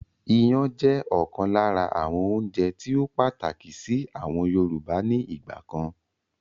Ìyàn jẹ́ ọ̀kan lára àwọn oúnjẹ tíì ó pàtàkì síí àwọn Yorùbá ni ìgbàkan